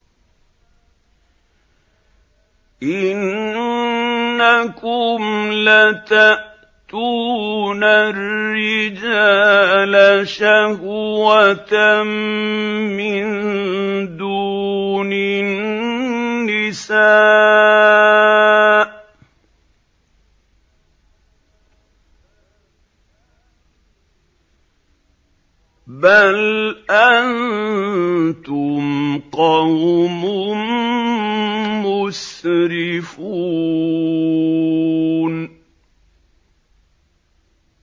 إِنَّكُمْ لَتَأْتُونَ الرِّجَالَ شَهْوَةً مِّن دُونِ النِّسَاءِ ۚ بَلْ أَنتُمْ قَوْمٌ مُّسْرِفُونَ